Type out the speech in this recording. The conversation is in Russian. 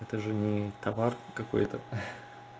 это же не товар какой-то